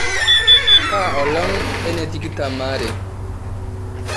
kaa olong' enetikitam aare